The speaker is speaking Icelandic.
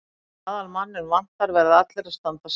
Þegar aðalmanninn vantar verða allir að standa saman.